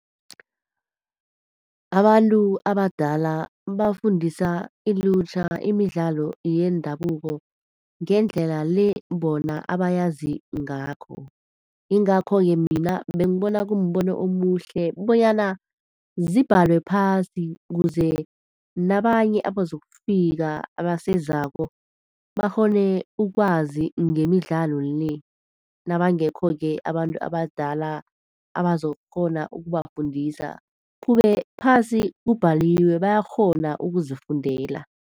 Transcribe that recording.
Abantu abadala bafundisa ilutjha imidlalo yendabuko ngendlela le bona abayazi ngakho. Yingakho-ke mina bengibona kumbono omuhle bonyana zibhalwe phasi, ukuze nabanye abazokufika abasezako, bakghone ukwazi ngemidlalo le. Nabangekho-ke abantu abadala abazokukghona ngokubafundisa, kube phasi kubhaliwe, bayakghona ukuzifundela.